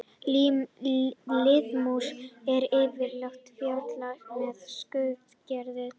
Liðmús er yfirleitt fjarlægð með skurðaðgerð.